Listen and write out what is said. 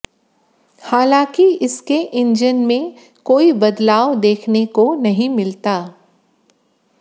हालांकि इसके इंजन में कोई बदलाव देखने को नहीं मिलता